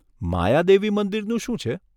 માયાદેવી મંદિરનું શું છે?